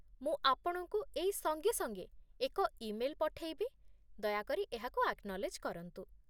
ମୁଁ ଆପଣଙ୍କୁ ଏଇ ସଙ୍ଗେ ସଙ୍ଗେ ଏକ ଇମେଲ୍ ପଠେଇବି ଦୟାକରି ଏହାକୁ ଆକ୍ନଲେଜ୍ କରନ୍ତୁ